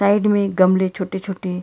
side मे गमले छोटे छोटे--